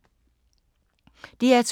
DR2